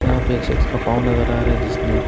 यहां पे एक शख्स का पांव नजर आ रहा है जिसने--